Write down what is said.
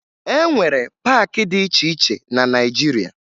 E nwere paakị dị iche iche na Naịjiria